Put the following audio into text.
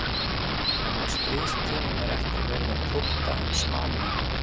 En á stríðstímum er ekki verið að prútta um smámuni